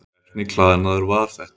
Hvernig klæðnaður var þetta?